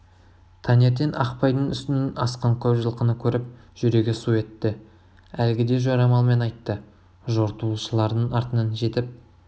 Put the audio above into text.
таңертең ақпайдың үстінен асқан көп жылқыны көріп жүрегі су етті әлгіде жорамалмен айтты жортуылшылардың артынан жетіп